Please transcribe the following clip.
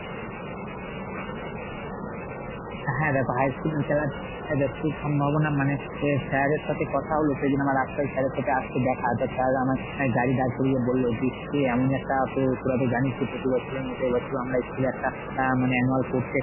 হ্যাঁ দেখো high school এর খেলাটা যতদূর সম্ভাবনা মানে sir এর সাথে কথা হল সেদিন আমার রাস্তায় sir এর সাথে আজকে দেখা। তো sir আমায় গাড়ি দাঁড় করিয়ে বললো যে কি এমনই একটা তো তোরা তো জানিস এই প্রতিবছরের মত এ বছরও আমরা school এ একটা অ্যাঁ মানে annual sports এর